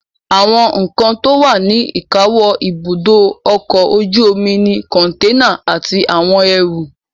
Àwọn nǹkan tó wà ní ìkáwọ́ ibùdó ọkọ̀ ojú omi ni kọ̀ǹténà àti àwọn ẹrù